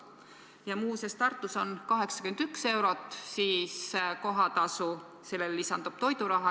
Ja muuseas, Tartus on kohatasu 81 eurot, sellele lisandub toiduraha.